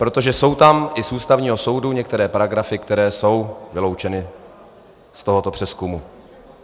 Protože jsou tam i z Ústavního soudu některé paragrafy, které jsou vyloučeny z tohoto přezkumu.